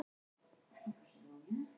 Mýrar